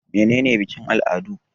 Mene ne bikin-al'adu?